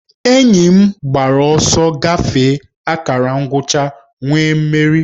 Enyi m gbara ọsọ gafee akara ngwụcha wee merie